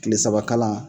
Kile saba kalan